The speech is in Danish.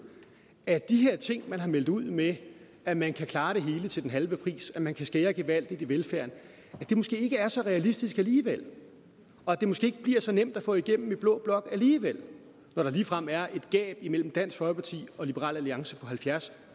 at de her ting man har meldt ud med at man kan klare det hele til den halve pris at man kan skære gevaldigt i velfærden måske ikke er så realistiske alligevel og at det måske ikke bliver så nemt at få igennem i blå blok alligevel når der ligefrem er et gab mellem dansk folkeparti og liberal alliance på halvfjerds